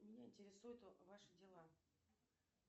меня интересуют ваши дела